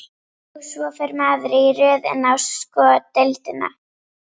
Og svo fer maður í röð inn á sko deildina.